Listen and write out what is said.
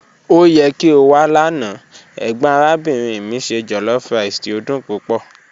O yẹ ki o wa lana, egbon arabinrin mi se jollofrice ti o dun pupọ.